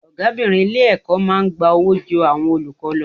Ọ̀gábìnrin ilé-ẹ̀kọ́ máa ń gba owó ju àwọn olùkọ́ lọ.